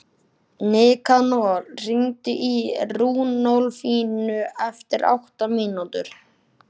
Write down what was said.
Nikanor, hringdu í Runólfínu eftir átta mínútur.